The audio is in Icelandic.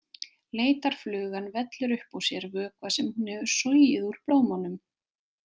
Leitarflugan vellur upp úr sér vökva sem hún hefur sogið úr blómunum.